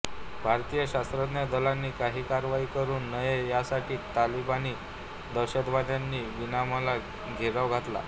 भारतीय सशस्त्र दलांनी काही कारवाई करू नये यासाठी तालिबानी दहशतवाद्यांनी विमानाला घेराव घातला